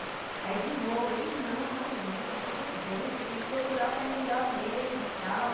Aí de novo, eles, não, imagina, tudo bem, você tem que procurar o que é melhor mesmo, tal.